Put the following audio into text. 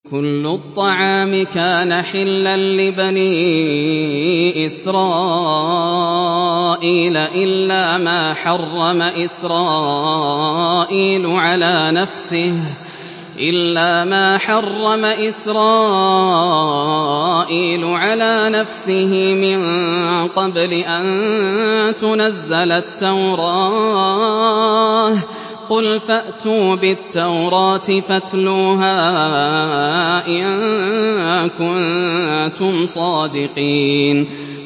۞ كُلُّ الطَّعَامِ كَانَ حِلًّا لِّبَنِي إِسْرَائِيلَ إِلَّا مَا حَرَّمَ إِسْرَائِيلُ عَلَىٰ نَفْسِهِ مِن قَبْلِ أَن تُنَزَّلَ التَّوْرَاةُ ۗ قُلْ فَأْتُوا بِالتَّوْرَاةِ فَاتْلُوهَا إِن كُنتُمْ صَادِقِينَ